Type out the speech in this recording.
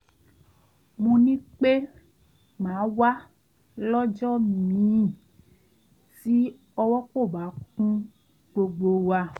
mo ní pé màá wá lọ́jọ́ míì tí ọwọ́ kò bá kún gbogbo wa